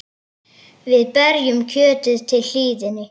Við berjum kjötið til hlýðni.